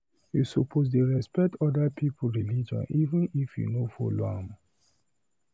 You suppose dey respect other pipu religion even if you no follow am.